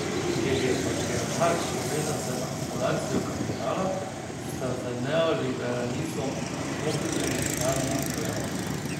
Ker je patriarhat povezan z akumulacijo kapitala, sta z neoliberalizmom komplementarna pojava.